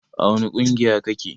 A wani ƙungiya kake?